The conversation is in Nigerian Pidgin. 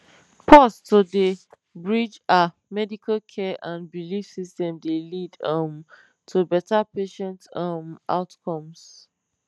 pause to dey bridge ah medical care and belief systems dey lead um to better patient um outcomes